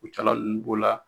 Kutiyala ninnu b'o la,